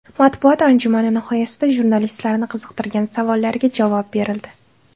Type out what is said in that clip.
Matbuot anjumani nihoyasida jurnalistlarni qiziqtirgan savollariga javob berildi.